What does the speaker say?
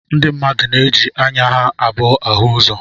Ndi mmadụ na-eji anya ha abụọ áhù ụzọ